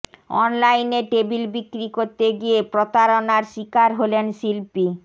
অনলাইনে টেবিল বিক্রি করতে গিয়ে প্রতারণার শিকার হলেন শিল্পী